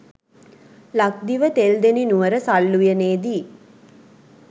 ලක්දිව තෙල්දෙණි නුවර සල් උයනේදී